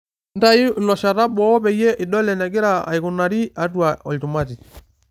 Ntayu iloshata boo peyie idol enegira aikunari atua olchumati.